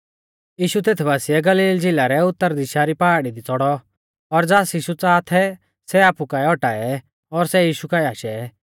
यीशु तेत बासिऐ गलील झ़िला रै उतर दिशा री पहाड़ी दी च़ौड़ौ और ज़ास यीशु च़ाहा थै सै आपु काऐ औटाऐ और सै यीशु काऐ आशै